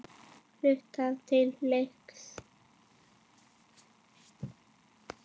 Flautað til leiks.